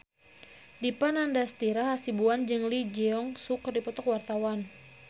Dipa Nandastyra Hasibuan jeung Lee Jeong Suk keur dipoto ku wartawan